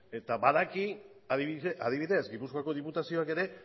eta badaki adibidez gipuzkoako diputazioak ere